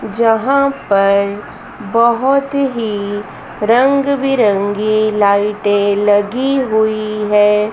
जहां पर बहोत ही रंग-बिरंगी लाइटे लगी हुई है।